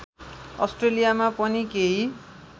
आस्ट्रेलियामा पनि केही